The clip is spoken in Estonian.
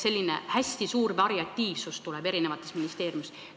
Selline hästi suur variatiivsus hakkab ministeeriumides olema.